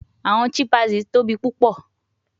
Awọn chimpanzees tobi pupọ